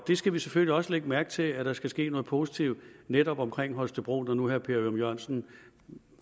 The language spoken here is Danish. vi skal selvfølgelig også lægge mærke til at der skal ske noget positivt netop omkring holstebro når nu herre per ørum jørgensen